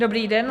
Dobrý den.